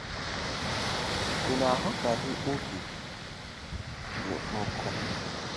Ị na-aghọtaghị obi gị nkụ?